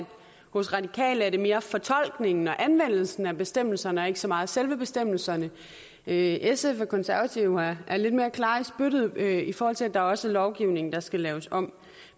hos radikale mere er fortolkningen og anvendelsen af bestemmelserne og ikke så meget selve bestemmelserne sf og konservative er lidt mere klare i spyttet i forhold til at der også er lovgivning der skal laves om